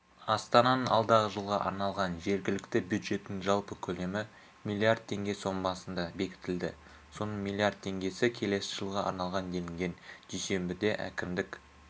астананың алдағы жылға арналған жергілікті бюджетінің жалпы көлемі миллиард теңге сомасында бекітілді соның миллиард теңгесі келесі жылға арналған делінген дүйсенбіде әкімдік